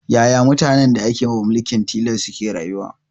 Yaya mutanen da ake wa mulkin tilas suke rayuwa